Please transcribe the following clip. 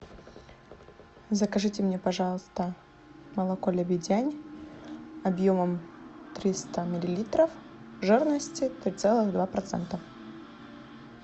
закажите мне пожалуйста молоко лебедянь объемом триста миллилитров жирностью три целых два процента